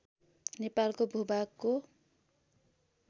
नेपालको भूभागको